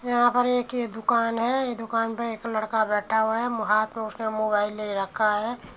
यहाँ पर एक ये दुकान है। दुकान में एक लड़का बैठा हुआ है हाथ में उसने मोबाइल ले रखा है।